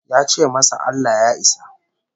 Ya ce masa Allah Ya isa